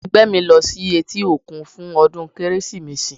Ẹgbẹ́ mi ń lọ sí etí òkun fún ọdún Kérésìmesì.